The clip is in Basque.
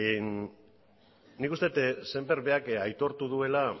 nik uste dut sémper berak aitortu duela